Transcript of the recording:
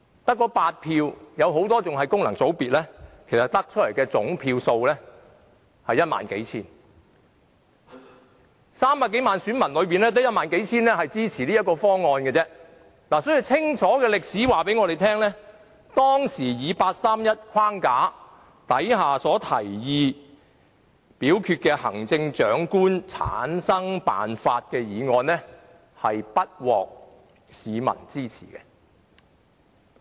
在300多萬選民中，只有1萬或數千人支持這個方案，所以歷史已清楚告訴我們，當時在八三一框架下提出的行政長官產生辦法的決議案，是不獲市民支持的。